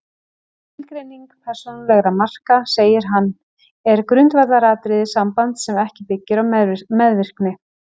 Skilgreining persónulegra marka, segir hann, er grundvallaratriði sambands sem ekki byggir á meðvirkni.